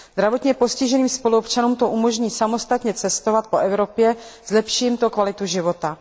Zdravotně postiženým spoluobčanům to umožní samostatně cestovat po Evropě, zlepší jim to kvalitu života.